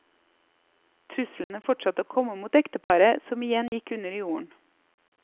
Truslene fortsatte å komme mot ekteparet, som igjen gikk under jorden.